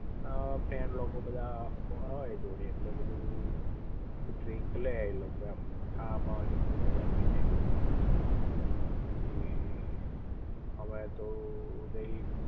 friend લોકો બધા હોય જોડે ઍટલે ડ્રીંક લે એ લોકો એમ ખાવા બાવા ની બધી મજા પડી જાઇ પછી અમે તો તઈ